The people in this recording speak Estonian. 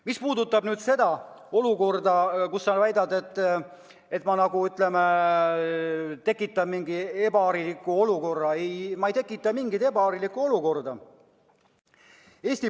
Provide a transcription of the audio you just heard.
Mis puudutab sinu väidet, et ma nagu tekitan mingi ebahariliku olukorra, siis ei tekita ma mingit ebaharilikku olukorda.